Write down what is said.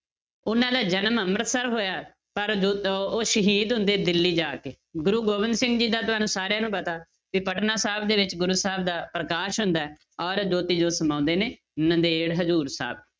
ਉਹਨਾਂ ਦਾ ਜਨਮ ਅੰਮ੍ਰਿਤਸਰ ਹੋਇਆ, ਪਰ ਉਹ ਸ਼ਹੀਦ ਹੁੰਦੇ ਦਿੱਲੀ ਜਾ ਕੇ, ਗੁਰੂ ਗੋਬਿੰਦ ਸਿੰਘ ਜੀ ਦਾ ਤੁਹਾਨੂੰ ਸਾਰਿਆਂ ਨੂੰ ਪਤਾ ਵੀ ਪਟਨਾ ਸਾਹਿਬ ਦੇ ਵਿੱਚ ਗੁਰੂ ਸਾਹਿਬ ਦਾ ਪ੍ਰਕਾਸ਼ ਹੁੰਦਾ ਹੈ ਔਰ ਜੋਤੀ ਜੋਤ ਸਮਾਉਂਦੇ ਨੇ, ਨੰਦੇੜ ਹਜ਼ੂਰ ਸਾਹਿਬ